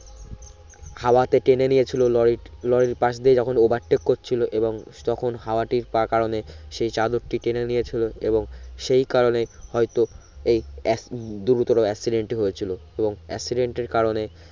হাওয়াতে টেনে নিয়েছিলো লরিরট লরির পাশ দিয়ে যখন overtake করছিলো এবং তখন হাওয়াটি পা কারণে সে চাদরটি টেনে নিয়েছিলো এবং সেই কারনণে হয়তো এই এক দুরুতোরো accident হয়েছিলো তো accident এর কারণে